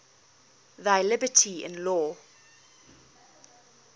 thy liberty in law